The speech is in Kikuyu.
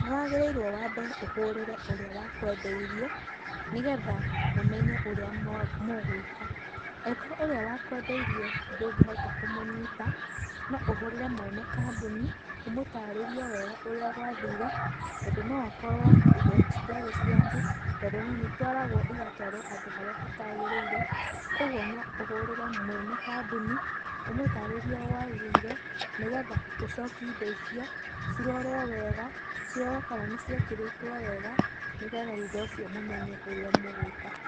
Nĩ wagĩrĩirwo wambe ũhũrĩre ũrĩa wakwendeirie nĩgetha mũmenye ũrĩa mũgwĩka. Angĩkorwo ũrĩa wakwendeirie ndũngĩhota kũmũnyita, no ũhũrĩre mwene kambuni ũmũtarĩrie wega ũrĩa gwathĩre tondũ no ũkorwo indo citiarĩ ciaku, tondũ rĩ nĩ itwaragwo itwaragwo handũ harĩa hatagĩrĩire. Kwoguo no ũhũrĩre mwene kambuni ũmũtarĩrie ũrĩa gwathire nĩgetha ũcokie indo icio cirorwo wega, cirorwo kana nĩciekĩrĩtwo wega nĩgetha thutha ũcio mũmenye ũrĩa mũgwĩka.